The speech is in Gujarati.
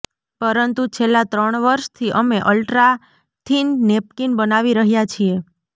પરંતુ છેલ્લા ત્રણ વર્ષથી અમે અલ્ટ્રાથીન નેપકીન બનાવી રહ્યાં છીએ